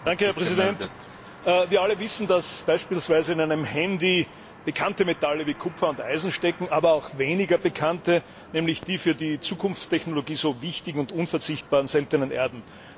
Herr Präsident! Wir alle wissen, dass beispielsweise in einem Handy bekannte Metalle wie Kupfer und Eisen stecken, aber auch weniger bekannte, nämlich die für die Zukunftstechnologie so wichtigen und unverzichtbaren Seltenen Erden.